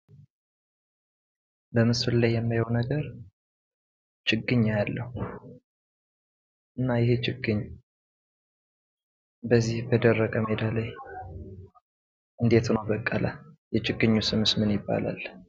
በምስሉ ላይ የማየው ነገር ችግኝ አያለው እና ይህ ችግኝ በዚህ በደረቅ ሜዳ ላይ እንዴት ሆኖ በቀለ የችግኙስ ስም ምን ይባላል?